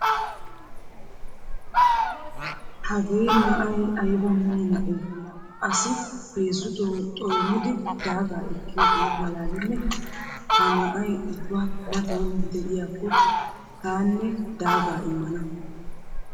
Hagee na'ay ayba mino na'ee laa asi heezzuto xoinidi daagaa ekkiyogee maalaalennee! Ha na'ay ubba matan de'iyakko taanne daagaa immana.